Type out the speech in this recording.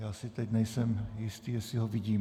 Já si teď nejsem jistý, jestli ho vidím.